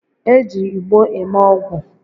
E ji igbo eme ogwu